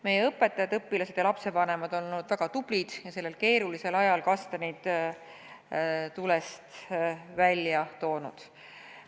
Meie õpetajad, õpilased ja lapsevanemad on olnud väga tublid ning sellel keerulisel ajal kastanid tulest välja toonud.